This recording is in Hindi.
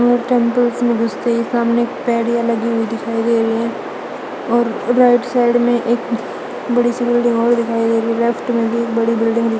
में गुस्ते ही सामने पेडिया लगी हुई दिखाई दे रही है और रोड साइड में एक बड़ी सी बिल्डिंग और दिखाई दे रही है लेफ्ट में एक बड़ी बिल्डिंग --